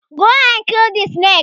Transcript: Go and kill the snake!